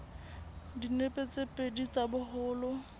dinepe tse pedi tsa boholo